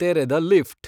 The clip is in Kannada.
ತೆರೆದ ಲಿಫ್ಟ್